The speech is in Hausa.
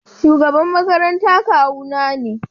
Shugaban makaranta kawuna ne.